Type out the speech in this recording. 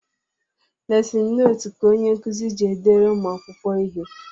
Lesin notu ka onyenkuzi ji edere ụmụakwụkwọ ihe